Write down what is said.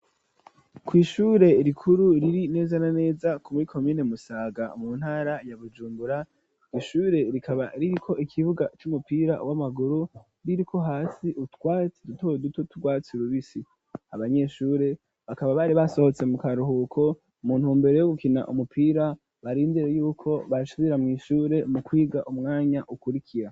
Kw’ishure rikuru riri neza na neza muri komine Musaga mu ntara ya Bujungura, ishure rikaba riri ko ikibuga c'umupira w'amaguru ririko hasi utwatsi duto duto turwatsi rubisi, abanyeshure bakaba bari basohotse mu karuhuko muntumbere yo gukina umupira barindire yuko basubira mw'ishure mu kwiga umwanya ukurikira.